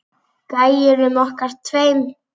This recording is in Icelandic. Gæjunum okkar tveim.